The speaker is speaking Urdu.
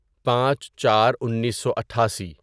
پانچ چار انیسو اٹھاسی